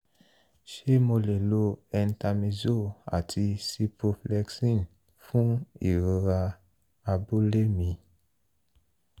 ṣé mo lè lo entamizole àti ciproflexin fún ìrora abúlé mi?